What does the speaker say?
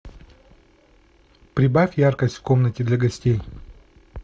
прибавь яркость в комнате для гостей